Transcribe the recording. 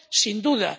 Sin duda.